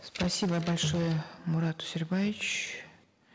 спасибо большое мурат усербаевич